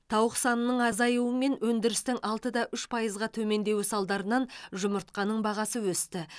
тауық санының азаюы мен өндірістің алты да үш пайызға төмендеуі салдарынан жұмыртқаның бағасы өсті